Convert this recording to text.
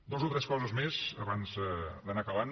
dues o tres coses més abans d’anar acabant